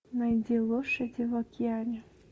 найди лошади в океане